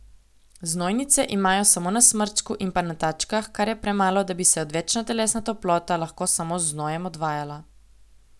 Znojnice imajo samo na smrčku in pa na tačkah, kar je premalo, da bi se odvečna telesna toplota lahko samo z znojem odvajala.